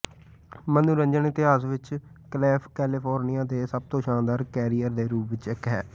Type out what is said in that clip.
ਮਨੋਰੰਜਨ ਇਤਿਹਾਸ ਵਿਚ ਕੈਲੇਫ਼ੋਰਨੀਆ ਦੇ ਸਭ ਤੋਂ ਸ਼ਾਨਦਾਰ ਕੈਰੀਅਰ ਦੇ ਰੂਪ ਵਿਚ ਇਕ ਹੈ